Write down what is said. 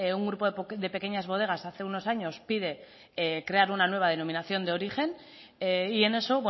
un grupo de pequeñas bodegas hace unos años pide crear una nueva denominación de origen y en eso